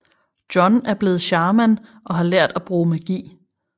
John er blevet shaman og har lært at bruge magi